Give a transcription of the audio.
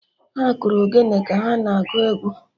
Ha kụrụ Ogene ka ha na-agụ egwu